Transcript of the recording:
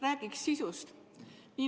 Räägiks sisust.